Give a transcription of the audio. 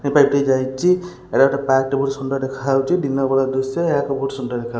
ସେ ପାଟେ ଯାଇଚି ଏଟା ଗୋଟେ ପାର୍କ ଟେ ବହୁତ ସୁନ୍ଦର ଦେଖାହଉଚି ଦିନ ହେଲା ଦୃଶ୍ୟ ଏହା ଏକ ବହୁତ ସୁନ୍ଦର ଦେଖା ହ --